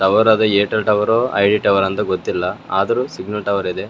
Tower ಅದ್ Airtel ಟವರ್ರೋ ID tower ಅಂತ ಗೊತ್ತಿಲ್ಲಆದ್ರೂ ಸಿಗ್ನಲ್ ಟವರ್ ಇದೆ.